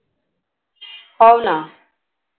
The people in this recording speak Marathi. हवं ना. .